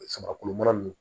Samakulu mana